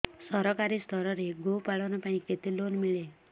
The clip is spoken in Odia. ସରକାରୀ ସ୍ତରରେ ଗୋ ପାଳନ ପାଇଁ କେତେ ଲୋନ୍ ମିଳେ